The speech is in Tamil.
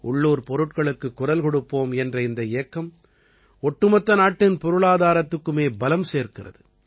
உள்ளூர்ப் பொருட்களுக்குக் குரல் கொடுப்போம் என்ற இந்த இயக்கம் ஒட்டுமொத்த நாட்டின் பொருளாதாரத்திற்குமே பலம் சேர்க்கிறது